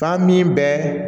Ka min bɛ